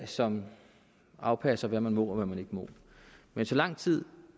som afpasser hvad man må og hvad man ikke må men så lang tid